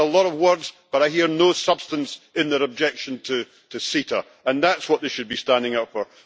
I hear a lot of words, but I hear no substance in their objection to CETA, and that is what they should be standing up for.